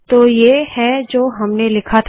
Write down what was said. तो ये है जो हमने लिखा था